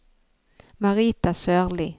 Marita Sørli